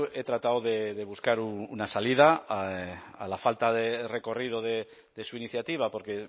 he tratado de buscar una salida a la falta de recorrido de su iniciativa porque